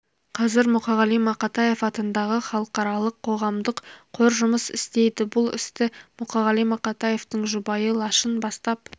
қазір мұқағали мақатаев атындағы халықаралық қоғамдық қор жұмыс істейді бұл істі мұқағали мақатаевтың жұбайы лашын бастап